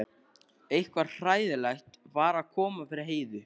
Eitthvað hræðilegt var að koma fyrir Heiðu.